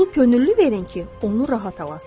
Pulu könüllü verin ki, onu rahat alasız.